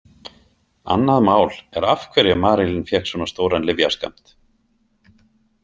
Annað mál er af hverju Marilyn fékk svona stóran lyfjaskammt.